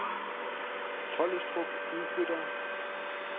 Tollestrup Udflyttere